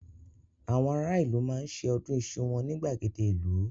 Àwọn ará ìlú máa ṣe ọdún iṣu wọn ní gbàgede ìlú.